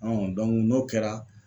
n'o kɛra